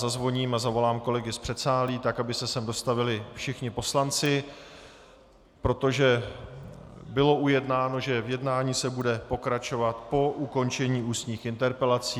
Zazvoním a zavolám kolegy z předsálí, tak aby se sem dostavili všichni poslanci, protože bylo ujednáno, že v jednání se bude pokračovat po ukončení ústních interpelací.